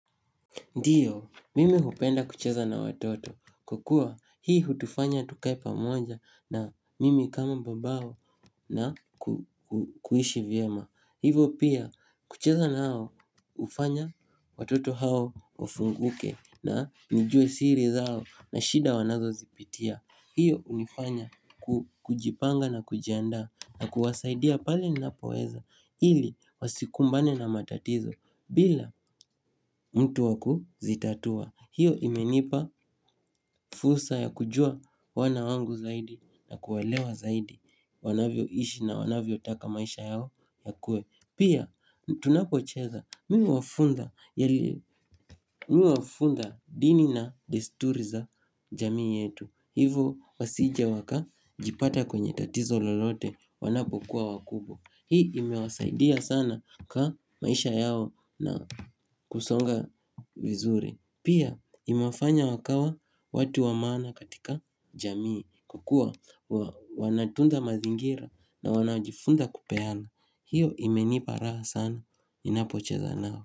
Ndiyo, mimi hupenda kucheza na watoto, kwa kua hii hutufanya tukae pamoja na mimi kama babao na kuishi vyema. Hivo pia, kucheza na hao, hufanya watoto hao wafunguke na nijue siri zao na shida wanazozipitia. Hiyo hunifanya kujipanga na kujianda na kuwasaidia pale ninapoweza ili wasikumbane na matatizo bila mtu wakuzitatua. Hiyo imenipa fursa ya kujua wana wangu zaidi na kuwaelewa zaidi wanavyoishi na wanavyotaka maisha yao yakue. Pia tunapocheza mimi huwafunza dini na desturi za jamii yetu Hivo wasije wakajipata kwenye tatizo lolote wanapokuwa wakubwa Hii imewasaidia sana kwa maisha yao na kusonga vizuri Pia imefanya wakawa watu wa maana katika jamii kukua wanatunza mazingira na wanajifunza kupeana hiyo imenipa raha sana ninapocheza nao.